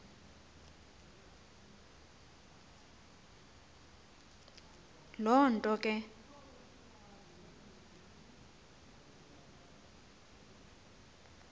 loo nto ke